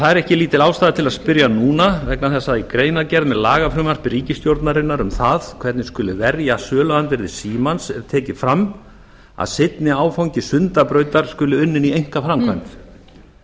það er ekki lítil ástæða til að spyrja núna vegna þess að í greinargerð með lagafrumvarpi ríkisstjórnarinnar um það hvernig skuli verja söluandvirði símans er tekið fram að seinni áfangi sundabrautar skuli unninn í einkaframkvæmd